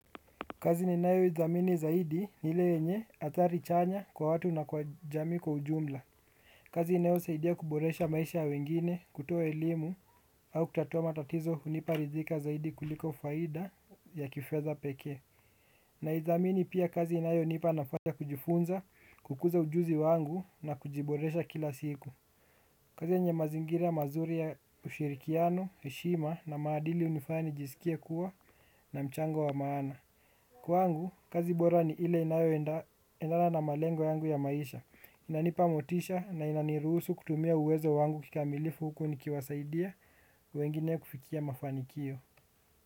Kazi ninayoidhamini zaidi ni ile yenye athari chanya kwa watu na kwa jamii kwa ujumla. Kazi inayo saidia kuboresha maisha ya wengine kutoa elimu au kutatua matatizo hunipa ridhika zaidi kuliko faida ya kifedha pekee. Naidhamini pia kazi inayonipa nafanya kujifunza kukuza ujuzi wangu na kujiboresha kila siku. Kazi yenye mazingiri ya mazuri ya ushirikiano heshima na maadili unifanya nijisikie kuwa na mchango wa maana. Kwangu, kazi bora ni ile inayoendana malengo yangu ya maisha. Inanipa motisha na inaniruhusu kutumia uwezo wangu kikamilifu huku nikiwasaidia wengine kufikia mafanikio.